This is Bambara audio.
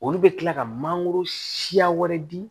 Olu bɛ kila ka mangoro siya wɛrɛ di